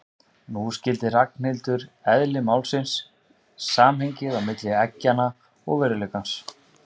Nú skildi Ragnhildur eðli málsins, samhengið á milli eggjanna og veruleikans.